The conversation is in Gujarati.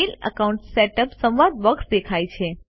મેઇલ અકાઉન્ટ સેટઅપ સંવાદ બોક્સ દેખાય છે